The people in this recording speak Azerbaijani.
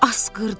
Asqırdım.